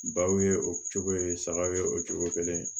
Baw ye o cogo ye sagaw ye o cogo kelen